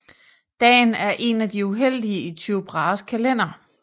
Dagen er en af de uheldige i Tycho Brahes kalender